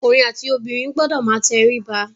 Ọkùnrin àti obìnrin gbọdọ̀ máa tẹríba.